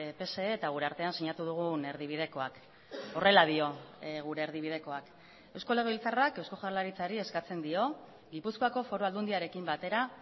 pse eta gure artean sinatu dugun erdibidekoak horrela dio gure erdibidekoak eusko legebiltzarrak eusko jaurlaritzari eskatzen dio gipuzkoako foru aldundiarekin batera